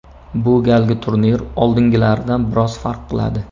Bu galgi turnir oldingilaridan biroz farq qiladi.